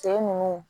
Ke nun